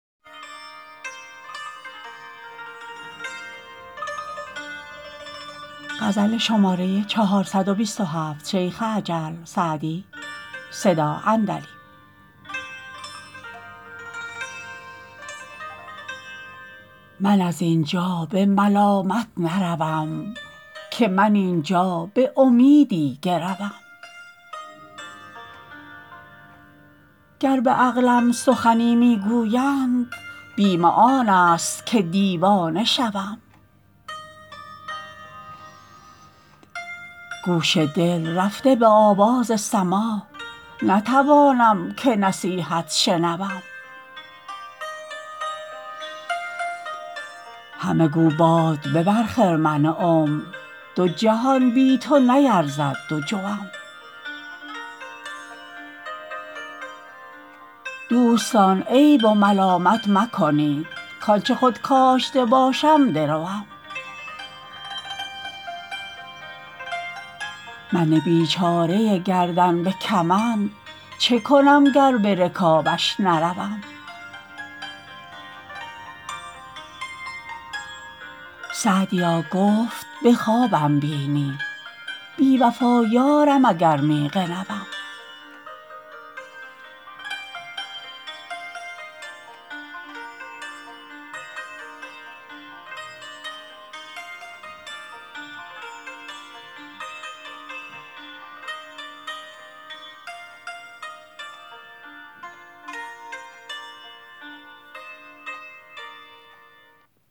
من از این جا به ملامت نروم که من این جا به امیدی گروم گر به عقلم سخنی می گویند بیم آن است که دیوانه شوم گوش دل رفته به آواز سماع نتوانم که نصیحت شنوم همه گو باد ببر خرمن عمر دو جهان بی تو نیرزد دو جوم دوستان عیب و ملامت مکنید کآن چه خود کاشته باشم دروم من بیچاره گردن به کمند چه کنم گر به رکابش نروم سعدیا گفت به خوابم بینی بی وفا یارم اگر می غنوم